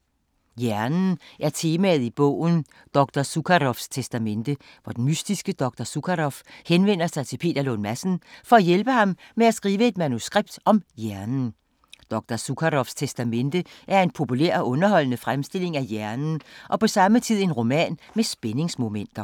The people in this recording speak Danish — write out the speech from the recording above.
Hjernen er temaet i bogen Dr. Zukaroffs testamente, hvor den mystiske Dr. Zukaroff henvender sig til Peter Lund Madsen for at hjælpe ham med at skrive et manuskript om hjernen. Dr. Zukaroffs testamente er en populær og underholdende fremstilling af hjernen og på samme tid en roman med spændingsmomenter.